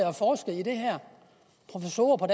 og forsket i det her professorer på